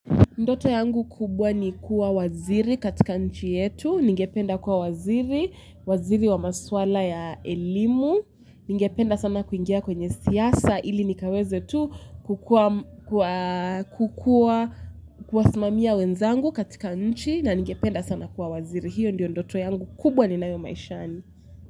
Ndoto yangu kubwa ni kuwa waziri katika nchi yetu, ningependa kuwa waziri, waziri wa maswala ya elimu, ningependa sana kuingia kwenye siasa ili nikaweze tu kukua kusimamia wenzangu katika nchi na ningependa sana kuwa waziri, hiyo ndiyo ndoto yangu kubwa ni nayo maishani.